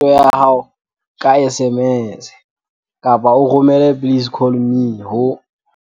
Romela potso ya hao ka SMS kapa o romele 'please call me' ho